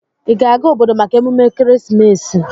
Ị ga-aga obodo maka emume Ekeresimesi?